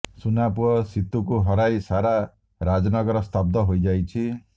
ସୁନା ପୁଅ ସିତୁକୁ ହରାଇ ସାରା ରାଜନଗର ସ୍ତବ୍ଧ ହୋଇଯାଇଛି